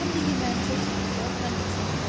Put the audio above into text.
Həm də yeməyimizə çatacaq, həm də satlıq.